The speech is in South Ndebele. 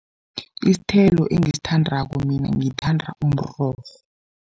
Isithelo engisithandako mina, ngithanda umrorho.